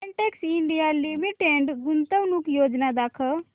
Betex India Limited गुंतवणूक योजना दाखव